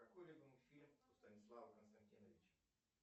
какой любимый фильм у станислава константиновича